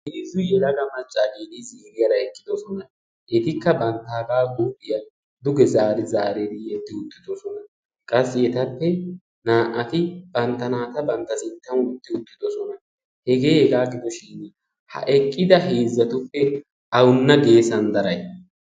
Heezzu yelagga maccatti ziiriyara eqqidosona ettikka banttagga huuphphiya dugge zaari zaari yeddi uttidosonna qassi ettappe na"atti bantta naatta bantta sinttan wottiuttidosona heggeheggaagidoshin ha eqqidda heezattuppe awunna geessan daray?